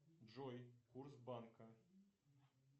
джой курс банка